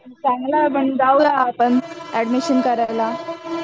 चांगल आहे आपण जाऊया एडमीशन करायला